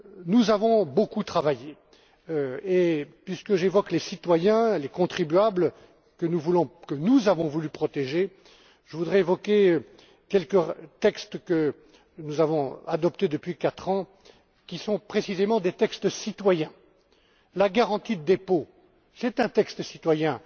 service. Nous avons beaucoup travaillé et puisque j'évoque les citoyens et les contribuables que nous avons voulu protéger je voudrais également mentionner quelques textes que nous avons adoptés depuis quatre ans, qui sont précisément des textes citoyens la garantie de dépôt est un texte